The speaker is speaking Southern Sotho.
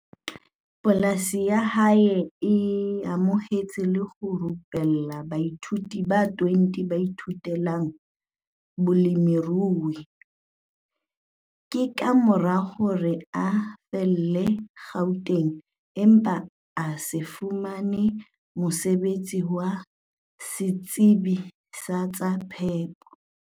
Polasi ya hae e amohetse le ho rupella baithuti ba 20 ba ithutelang bolemirui. Ke ka mora hore a fallele Gauteng empa a se fumane mosebetsi wa setsebi sa tsa phepo.